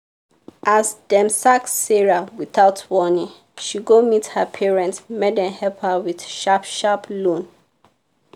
as dem sack sarah without warning she go meet her parents make dem help her with sharp-sharp loan.